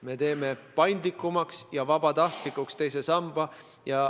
Me teeme teise samba paindlikumaks ja vabatahtlikuks.